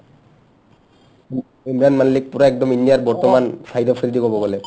ইমৰান মাল্লিক পূৰা একদম ইণ্ডিয়াৰ বৰ্তমান শ্বাহিদ আফ্ৰিদি ক'ব গ'লে